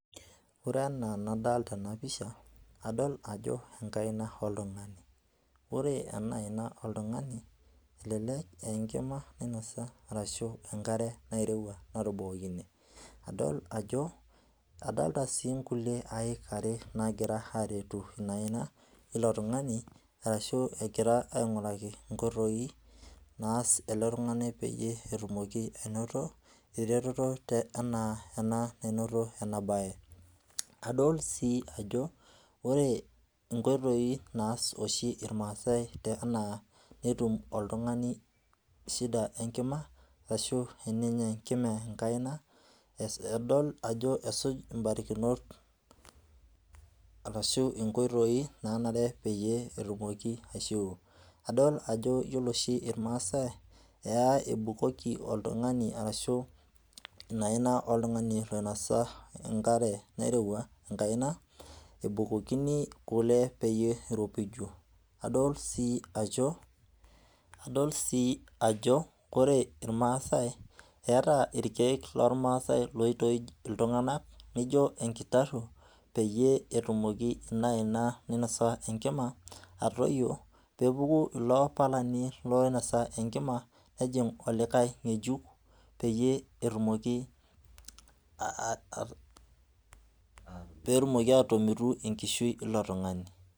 ore ena enadalta ena picha, adol ajo enkaina oltungani, ore ena aina oltungani elelek a enkima nainosa ashu a enkare neurowua natubukokine, adol ajo adolta si inkulie aik are nangira aretu ina aina ilo tungani ashu engira aingoraki inkoitoi, naas ele tungani peyie etumoki anoto eretoto, te ena ena ena nanoto ena bae, adol si ajo ore inkoitoi naas oshi ilmasae ena netum oltungani shida enkima ashu tenenya enkima enkaina edol ajo esuj mbarikinot arashu inkoitoi nanare petum aishuwuo, adol ajo ore oshi ilmasae, eya ebukoki oltungani ashu ina aina oltungani oinosa enkare nairowua enkaina, ebukokini kule peyie iropiju, adol si ajo ore ilmasae eta ilkeek olmasae oitoij iltungana nijo enkitaru peyie etumoki ina aina nainosa enkima atoyio, pepuku ilo palani oinosa enkima nejing olikae ngejuk, peyie etumoki aa aa atomitu enkishui ilo tungani,.